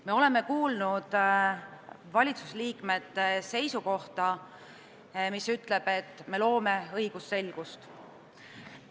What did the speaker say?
Me oleme kuulnud valitsuse liikmete seisukohta, mis ütleb, et me loome õigusselgust.